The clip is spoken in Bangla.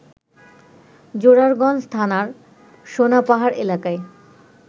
জোরারগঞ্জ থানার সোনাপাহাড় এলাকায়